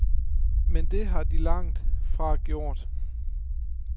Men det har de langt fra gjort.